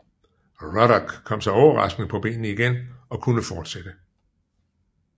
Ruddock kom sig overraskende på benene igen og kunne fortsætte